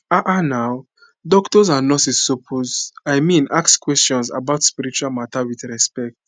ah ah nau doctors and nurses suppose i mean ask questions about spiritual matter with respect